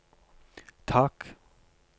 tak